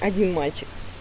один мальчик